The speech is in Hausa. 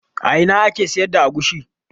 A ina ake sayar da agushi?